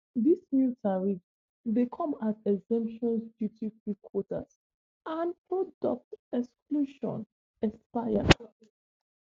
dis new tariffs dey come as exemptions duty-free quotas and product exclusions expire.